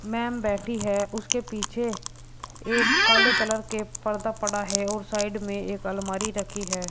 Ma'am बैठी है उसके पीछे एक काले कलर के पर्दा पड़ा है और साइड में एक अलमारी रखी है।